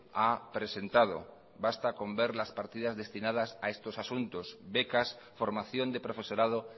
ha presentado basta con ver las partidas destinadas a estos asuntos becas formación de profesorado